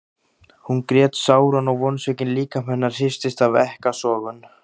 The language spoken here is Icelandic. Hún grét sáran og vonsvikinn líkami hennar hristist af ekkasogum.